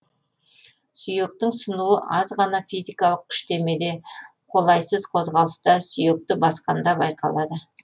сүйектің сынуы аз ғана физикалық күштемеде қолайсыз қозғалыста сүйекті басқанда байқалады